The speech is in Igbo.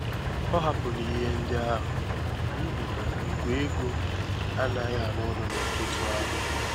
Ọ hapụrụ ihe ndị ahụ n'ihi na Igwe ego anaghị arụ ọrụ n'ụtụtụ ahụ.